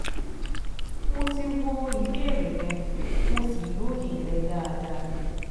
Mo ti wo ìbéèrè rẹ, mo sì lóye rẹ̀ dáadáa